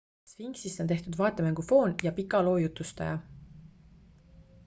sphinxist on tehtud vaatemängu foon ja pika loo jutustaja